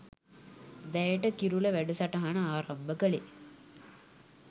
දැයට කිරුළ වැඩසටහන ආරම්භ කළේ.